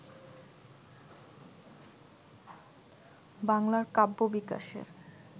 বাংলার কাব্য বিকাশের